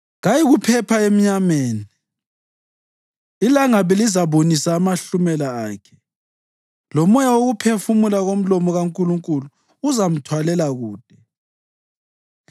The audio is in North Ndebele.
Kayikuphepha emnyameni; ilangabi lizabunisa amahlumela akhe lomoya wokuphefumula komlomo kaNkulunkulu uzamthwalela kude.